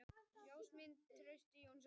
Ljósmynd: Trausti Jónsson.